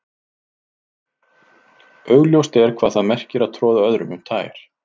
augljóst er hvað það merkir að troða öðrum um tær